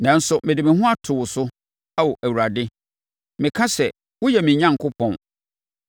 Nanso, mede me ho ato wo so, Ao Awurade; meka sɛ, “Woyɛ me Onyankopɔn.”